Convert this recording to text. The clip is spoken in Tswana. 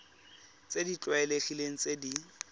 tse di tlwaelegileng tse di